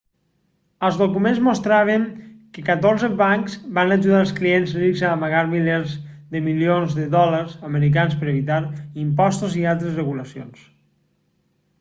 els documents mostraven que catorze bancs van ajudar els clients rics a amagar milers de milions de dòlars americans per evitar impostos i altres regulacions